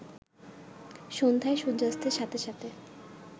সন্ধ্যায় সূর্যাস্তের সাথে সাথে